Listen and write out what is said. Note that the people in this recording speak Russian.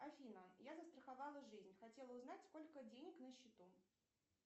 афина я застраховала жизнь хотела узнать сколько денег на счету